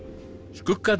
skuggarnir